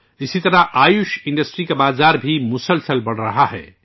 اسی طرح آیوش انڈسٹری کا بازار بھی لگاتار بڑھ رہا ہے